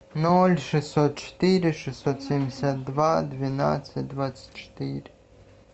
ноль шестьсот четыре шестьсот семьдесят два двенадцать двадцать четыре